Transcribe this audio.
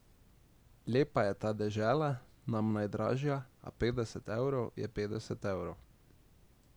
Lepa je ta dežela, nam najdražja, a petdeset evrov je petdeset evrov.